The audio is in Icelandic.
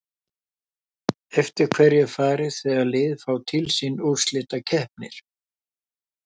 Eftir hverju er farið þegar lið fá til sín úrslitakeppnir?